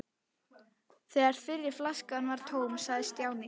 Þegar fyrri flaskan var tóm sagði Stjáni